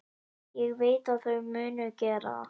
Ég veit að þau munu gera það.